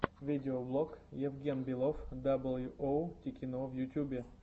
видеоблог евген белов дабл ю оу тикино в ютюбе